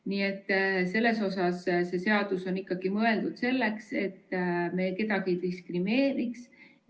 Nii et selles suhtes see seadus on ikkagi mõeldud selleks, et me kedagi ei diskrimineeriks.